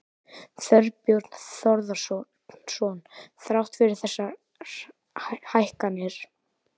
Þorbjörn Þórðarson: Þrátt fyrir þessar hækkanir?